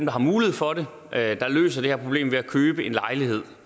har mulighed for at løse det her problem ved at købe en lejlighed